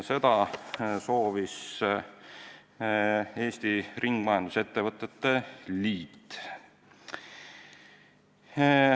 Seda soovis Eesti Ringmajandusettevõtete Liit.